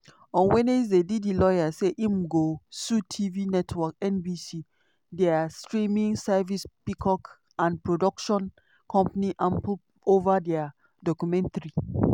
on wednesday diddy lawyer say im go sue tv network nbc dia streaming service peacock and production company ample ova dia documentary